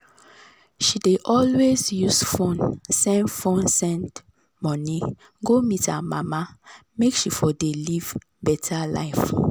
she dey always use fone send send money go meet her mama make she for de live beta life